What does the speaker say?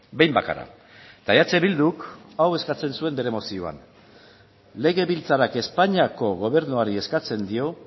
behin bakarra eta eh bilduk hau eskatzen zuen bere mozioan legebiltzarrak espainiako gobernuari eskatzen dio